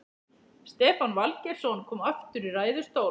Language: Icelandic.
Stefán Valgeirsson kom aftur í ræðustól.